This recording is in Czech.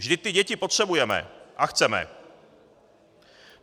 Vždyť ty děti potřebujeme a chceme.